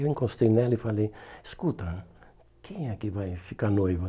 Eu encostei nela e falei, escuta, quem é que vai ficar noiva?